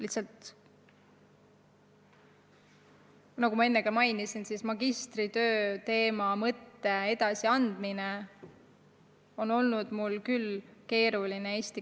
Lihtsalt, nagu ma enne mainisin, magistritöö teema, mõtte edasiandmine eesti keeles on mul küll keeruline olnud.